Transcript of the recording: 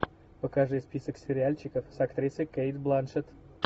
покажи список сериальчиков с актрисой кейт бланшетт